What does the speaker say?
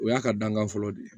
O y'a ka dankan fɔlɔ de ye